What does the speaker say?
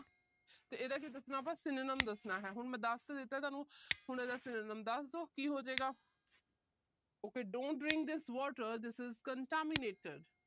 ਤੇ ਇਹਦਾ ਕੀ ਦੱਸਣਾ ਆਪਾ synonyms ਦੱਸਣਾ ਹੈ। ਹੁਣ ਦੱਸ ਤਾਂ ਦਿੱਤਾ ਤੁਹਾਨੂੰ, ਹੁਣ ਇਹਦਾ synonyms ਦੱਸ ਦੋ ਕੀ ਹੋਜੇਗਾ। OK, don't drink this water, this is contaminated